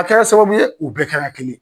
A kɛra sababu ye u bɛɛ kɛla kelen ye.